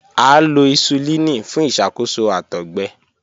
A lo hisulini fun iṣakoso àtọgbẹ.